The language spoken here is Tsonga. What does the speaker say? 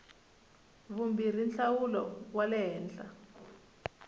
vumbirhi nhlawulo wa le henhla